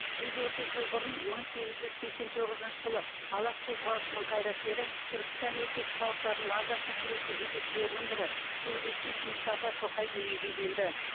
жүз отыз жыл бұрын мың сегіз жүз сексен тоғызыншы жылы алаш қозғалысының қайраткері түркістан өлкесі халықтарының азаттық күресі жетекшілерінің бірі публицист мұстафа шоқай дүниеге келді